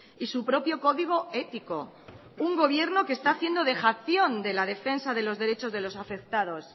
y su propio código ético un gobierno que está haciendo dejación sobre la defensa de los derechos de los afectados